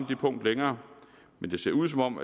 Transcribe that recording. det punkt længere det ser ud som om